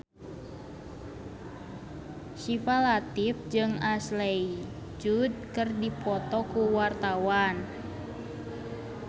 Syifa Latief jeung Ashley Judd keur dipoto ku wartawan